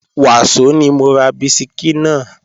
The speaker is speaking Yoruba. Wàsó ni mo ra bisikí náà